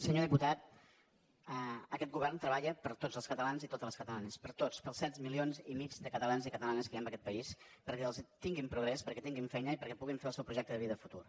senyor diputat aquest govern treballa per a tots els catalans i totes les catalanes per a tots per als set milions i mig de catalans i catalanes que hi ha en aquest país perquè tinguin progrés perquè tinguin feina i perquè puguin fer el seu projecte de vida i futur